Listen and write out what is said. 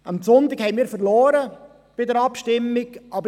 Am Sonntag haben wir bei der Abstimmung verloren.